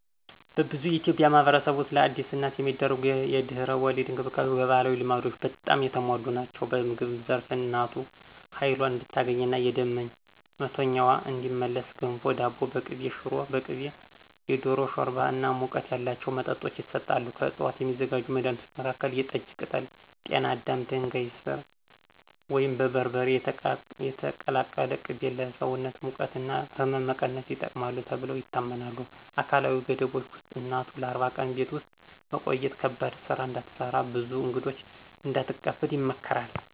በብዙ የኢትዮጵያ ማኅበረሰቦች ውስጥ ለአዲስ እናት የሚደረጉ የድህረ-ወሊድ እንክብካቤዎች በባህላዊ ልማዶች በጣም የተሞሉ ናቸው። በምግብ ዘርፍ እናቱ ኃይሏን እንድታገኝና የደም መቶኛዋ እንዲመለስ ገንፎ፣ ዳቦ በቅቤ፣ ሽሮ በቅቤ፣ የዶሮ ሾርባ እና ሙቀት ያላቸው መጠጦች ይሰጣሉ። ከዕፅዋት የሚዘጋጁ መድኃኒቶች መካከል የጠጅ ቅጠል፣ ጤና አዳም፣ ድንጋይ ሥር ወይም በርበሬ የተቀላቀለ ቅቤ ለሰውነት ሙቀት እና ሕመም መቀነስ ይጠቅማሉ ተብለው ይታመናሉ። አካላዊ ገደቦች ውስጥ እናቱ ለ40 ቀን ቤት ውስጥ መቆየት፣ ከባድ ሥራ እንዳትሰራ፣ ብዙ እንግዶች እንዳትቀበል ይመከራል።